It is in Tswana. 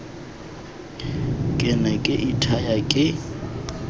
ke ne ke ithaya ke